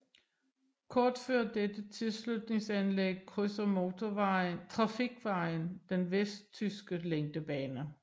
Kort før dette tilslutningsanlæg krydser motortrafikvejen den vestjyske længdebane